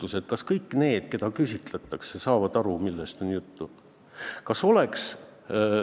Aga kas kõik need, keda on küsitletud, said aru, millest on juttu?